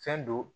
Fɛn don